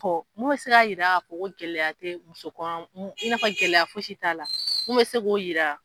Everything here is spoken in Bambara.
Ɔ mun bɛ se k'a jira k'a fɔ ko gɛlɛya tɛ muso kɔnɔma, gɛlɛya fosi t'a la ,mun bɛ se k'o jira.